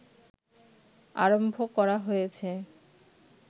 আরম্ভ করা হয়েছে